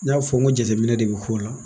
N y'a fɔ n ko jateminɛ de bi k'o la